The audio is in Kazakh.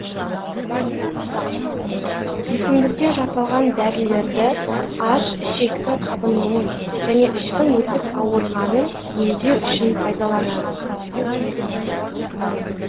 өсімдіктен жасалған дәрілерді аш ішектің қабынуын және іштің өтіп ауырғанын емдеу үшін пайдаланады